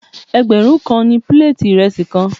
Ẹgbẹ̀rún kan ni píléètì ìrẹsì kan.